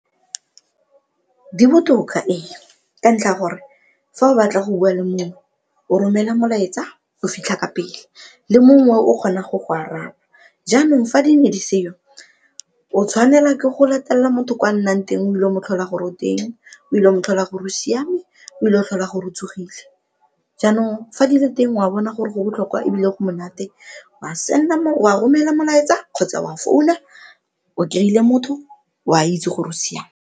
Di botoka ee, ka ntlha ya gore fa o batla go bua le mongwe o romela molaetsa o fitlha ka pele le mongwe o kgona go go araba, jaanong fa di ne di se'o o tshwanela ke go latelela motho kwa nnang teng o ile go mo tlhola gore oteng, o ile go mo tlhola gore o siame, o ile go tlhola goro o tsogile. Jaanong, fa di le teng wa bona gore go botlhokwa ebile go monate o a send-a wa romela molaetsa kgotsa wa founa o kereile motho o a itse gore o siame.